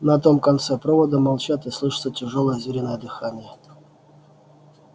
на том конце провода молчат и слышится тяжёлое звериное дыхание